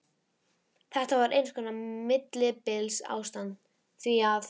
Þetta var eins konar millibilsástand, því að